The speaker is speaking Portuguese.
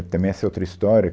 Também essa é outra história.